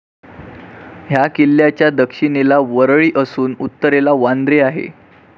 ह्या किल्ल्याच्या दक्षिणेला वरळी असून उत्तरेला वांद्रे आहे.